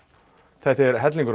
þetta er hellingur